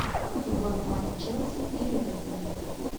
футбольный матч челси и ливерпуль